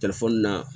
na